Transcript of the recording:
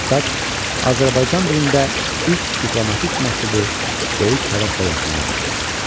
Xəttat Azərbaycan dilində ilk diplomatik məktubu böyük həvəslə yazmağa başladı.